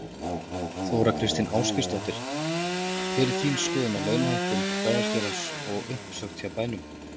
Þóra Kristín Ásgeirsdóttir: Hver er þín skoðun á launahækkun bæjarstjórans og uppsögnum hjá bænum?